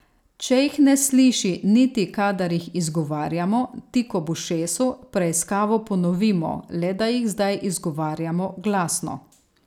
Če jih ne sliši niti, kadar jih izgovarjamo tik ob ušesu, preiskavo ponovimo, le da jih zdaj izgovarjamo glasno.